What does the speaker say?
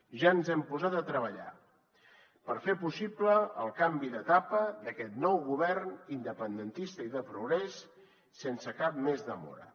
ja ens hem posat a treballar per fer possible el canvi d’etapa d’aquest nou govern independentista i de progrés sense cap més demora